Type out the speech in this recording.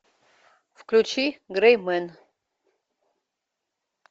включи грей мен